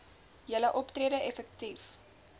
julle optrede effektief